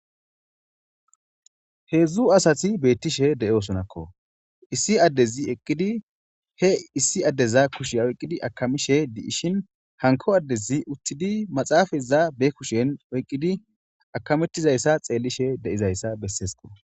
heedzdzu asati beettishe de7osonakko issi addezi eqqidi he issi addeza kushiya oyqqidi akamishe di7ishin hanko addezi uttidi maxaafaza be kushen oyqqidi akamettizayssa xeellishe de7izayssa besseesko